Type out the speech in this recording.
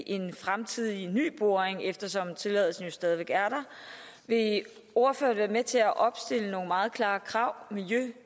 en fremtidig ny boring eftersom tilladelsen jo stadig væk er der vil ordføreren være med til at opstille nogle meget klare krav miljø og